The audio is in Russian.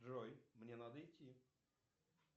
джой мне надо идти